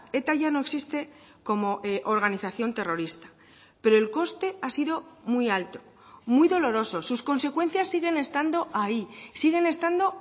eta ya no existe como organización terrorista pero el coste ha sido muy alto muy doloroso sus consecuencias siguen estando ahí siguen estando